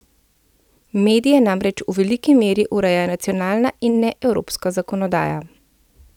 Medije namreč v veliki meri ureja nacionalna in ne evropska zakonodaja.